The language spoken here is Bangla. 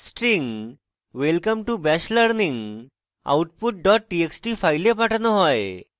string welcome to bash learning output dot txt file পাঠানো হয়